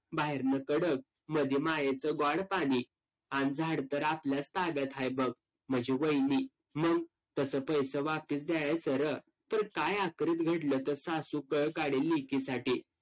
बाहेरनं कडक, मधी मायेचं ग्वाड पाणी. अन झाड तर आपल्याच ताब्यात हाय बघ, माझी वैणी. तसं पैसं द्यायचं रं. तर काय घडलं तर सासू कळ काडील लेकीसाठी.